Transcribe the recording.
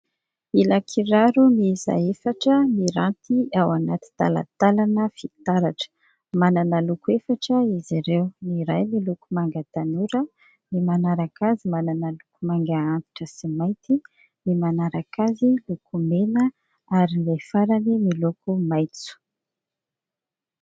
Ilan-kiraro miisa efatra miranty ao anaty talantalana fitaratra. Manana loko efatra izy ireo, ny iray miloko manga tanora, ny manaraka azy manana loko manga antitra sy mainty, ny manaraka azy miloko mena ary ny iray farany miloko maitso.